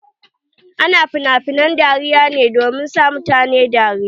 Ana finafinen dariya ne domin sa mutane dariya.